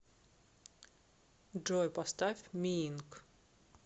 джой поставь миинк